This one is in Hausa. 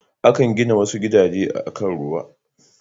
Akan gina wasu gidajen akan ruwa.